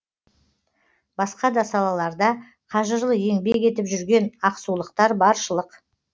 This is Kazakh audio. басқа да салаларда қажырлы еңбек етіп жүрген ақсулықтар баршылық